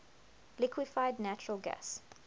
liquefied natural gas